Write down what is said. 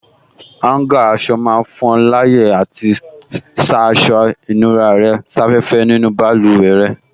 Áúngà aṣọ máa fún ọ láyè àti sá aṣọ ìnura rẹ̀ sáfẹ́fẹ́ nínú báluwẹ̀ rẹ